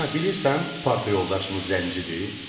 Ana, bilirsən, parta yoldaşımız zəncidir.